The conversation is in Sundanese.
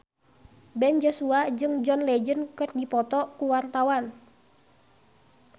Ben Joshua jeung John Legend keur dipoto ku wartawan